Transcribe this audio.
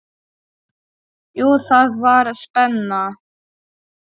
Jú, það var spenna.